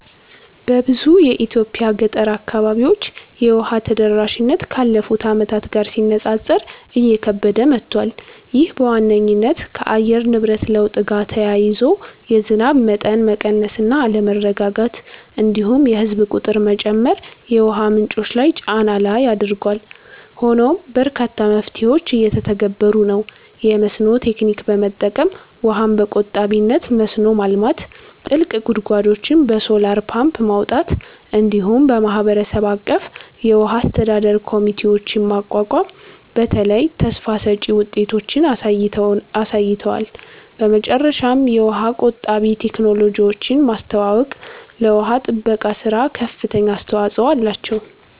በብዙ የኢትዮጵያ ገጠር አካባቢዎች የውሃ ተደራሽነት ካለፉት ዓመታት ጋር ሲነጻጸር እየከበደ መጥቷል። ይህ በዋነኝነት ከአየር ንብረት ለውጥ ጋር ተያይዞ የዝናብ መጠን መቀነስ እና አለመረጋጋት፣ እንዲሁም የህዝብ ቁጥር መጨመር የውሃ ምንጮች ላይ ጫና ላይ አድርጓል። ሆኖም በርካታ መፍትሄዎች እየተተገበሩ ነው፤ የመስኖ ቴክኒክ በመጠቀም ውሃን በቆጣቢነት መስኖ ማልማት፣ ጥልቅ ጉድጓዶችን በሶላር ፓምፕ ማውጣት፣ እንዲሁም የማህበረሰብ አቀፍ የውሃ አስተዳደር ኮሚቴዎችን ማቋቋም በተለይ ተስፋ ሰጭ ውጤቶችን አሳይተዋል። በመጨረሻም የውሃ ቆጣቢ ቴክኖሎጂዎችን ማስተዋወቅ ለውሃ ጥበቃ ሥራ ከፍተኛ አስተዋጽኦ አላቸው።